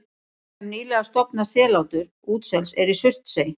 Dæmi um nýlega stofnað sellátur útsels er í Surtsey.